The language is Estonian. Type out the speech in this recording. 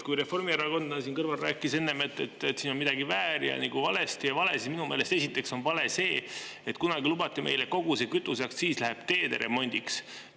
Kui reformierakondlane siin kõrval rääkis enne, et siin on midagi väär ja nagu valesti ja vale, siis minu meelest esiteks on vale see, et kunagi lubati meile, et kogu see kütuseaktsiis läheb teede remondiks.